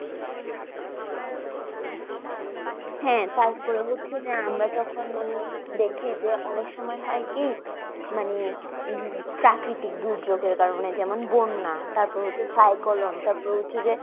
হ্যাঁ তারপরে হচ্ছে যে আমরা যখন মানে দেখি যে অনেক সময় হয় কি মানে প্রাকৃতিক দুর্যোগের কারণে যেমন, বন্যা তারপরে হচ্ছে সাইক্লোন তারপরে হচ্ছে যে